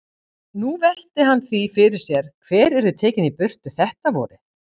Nú velti hann því fyrir sér hver yrði tekinn í burtu þetta vorið.